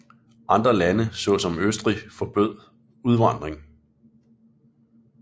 Andre lande såsom Østrig forbød udvandring